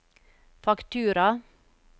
faktura